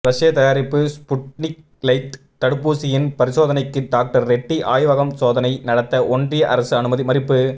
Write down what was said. ரஷ்ய தயாரிப்பு Sputnik light தடுப்பூசியின் பரிசோதனைக்கு டாக்டர் ரெட்டி ஆய்வகம் சோதனை நடத்த ஒன்றிய அரசு அனுமதி மறுப்பு